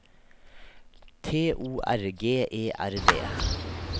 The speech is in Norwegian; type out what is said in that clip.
T O R G E R D